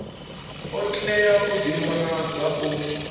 a tea u ḓivhonadza o